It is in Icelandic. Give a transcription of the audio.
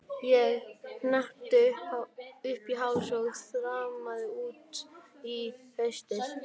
Ég hneppti upp í háls og þrammaði út í haustið.